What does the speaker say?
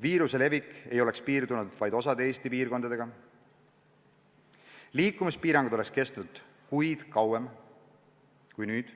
viiruse levik ei oleks piirdunud vaid osa Eesti piirkondadega ja liikumispiirangud oleks kestnud kuid kauem kui nüüd?